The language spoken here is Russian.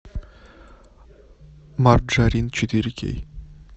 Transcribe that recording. марджорин четыре кей